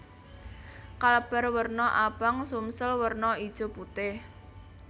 Kalbar werna abang Sumsel werna ijo putih